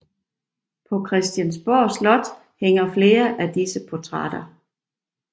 På Christiansborg Slot hænger flere af disse portrætter